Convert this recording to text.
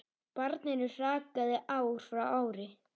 Barninu hrakaði ár frá ári.